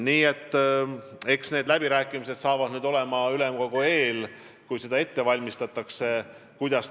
Nii et eks need läbirääkimised tulevad ülemkogu eel, kui seda ette valmistatakse.